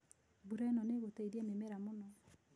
Mbura ĩno nĩ ĩgũteithia mĩmera mũno.